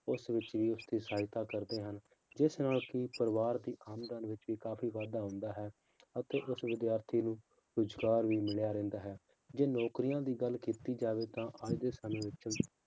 ਉਸ ਵਿਸ਼ੇਸ਼ ਤੇ ਸਹਾਇਤਾ ਕਰਦੇ ਹਨ, ਜਿਸ ਨਾਲ ਕਿ ਪਰਿਵਾਰ ਦੀ ਆਮਦਨ ਵਿੱਚ ਵੀ ਕਾਫ਼ੀ ਵਾਧਾ ਹੁੰਦਾ ਹੈ, ਅਤੇ ਉਸ ਵਿਦਿਆਰਥੀ ਨੂੰ ਰੁਜ਼ਗਾਰ ਵੀ ਮਿਲਿਆ ਰਹਿੰਦਾ ਹੈ, ਜੇ ਨੌਕਰੀਆਂ ਦੀ ਗੱਲ ਕੀਤੀ ਜਾਵੇ ਤਾਂ ਅੱਜ ਦੇ ਸਮੇਂ ਵਿੱਚ